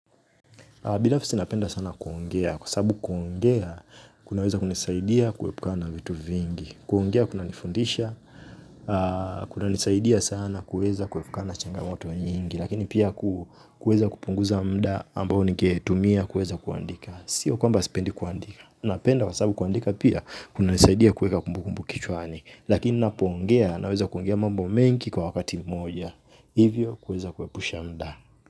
Binafsi napenda sana kuongea. Kwa sababu kuongea, kunaweza kunisaidia kuepukana vitu vingi. Kuongea, kuna nifundisha. Kunanisaidia sana kuweza kuepukana na changamoto wa nyingi. Lakini pia kuweza kupunguza muda ambao ningetumia, kuweza kuandika. Sio kwamba sipendi kuandika. Napenda kwa sababu kuandika pia, kunanisaidia kuweka kumbukumbu kichwani. Lakini ninapongea, naweza kuongea mambo mengi kwa wakati moja. Hivyo, kuweza kuepusha muda.